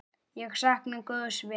Ég sakna góðs vinar.